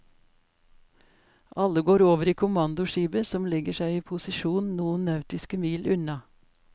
Alle går over i kommandoskipet som legger seg i posisjon noen nautiske mil unna.